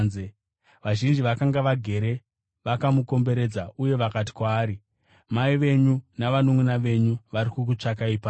Vazhinji vakanga vagere vakamukomberedza, uye vakati kwaari, “Mai venyu navanunʼuna venyu vari kukutsvakai panze.”